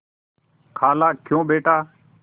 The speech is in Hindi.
खालाक्यों बेटा